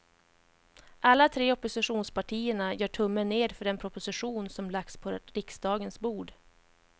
Alla tre oppositionspartierna gör tummen ner för den proposition som lagts på riksdagens bord.